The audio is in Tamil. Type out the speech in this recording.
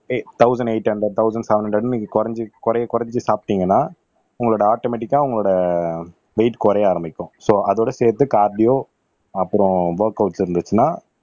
thousand eight hundred thousand seven ஹண்ட்ரேட்ன்னு நீங்க குறைஞ்சு கொறைய குறைச்சிட்டு சாப்டீங்கன்னா உங்களோட ஆட்டோமாட்டிக்கா உங்களோட வெயிட் குறைய ஆரம்பிக்கும் சோ அதோட சேர்த்து கார்டியோ அப்புறம் ஒர்கவுட்ஸ் இருந்துச்சுன்னா